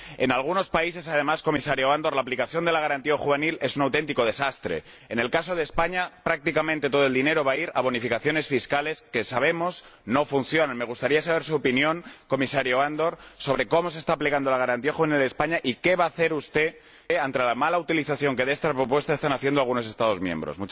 En algunos países además, Comisario Andor, la aplicación de la Garantía juvenil es un auténtico desastre. En el caso de España, prácticamente todo el dinero va a ir a bonificaciones fiscales, que —sabemos— no funcionan. Me gustaría saber su opinión, Comisario Andor, sobre cómo se está aplicando la garantía juvenil en España y qué va a hacer usted ante la mala utilización que de estas propuestas están haciendo algunos Estados miembros.